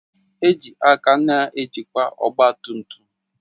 Eji aka na-ejikwa ọgba tum tum